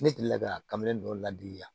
Ne delila ka kabin dɔ ladi yan